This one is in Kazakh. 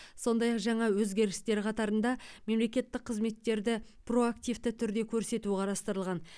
сондай ақ жаңа өзгерістер қатарында мемлекеттік қызметтерді проактивті түрде көрсету қарастырылған